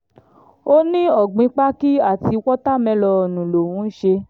ó ní ọ̀gbìn pákí àti wọ́ta mélòónù lòún ń ṣe